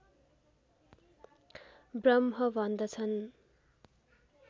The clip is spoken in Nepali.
ब्रह्म भन्दछन्